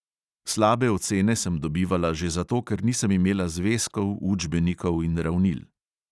Slabe ocene sem dobivala že zato, ker nisem imela zvezkov, učbenikov in ravnil.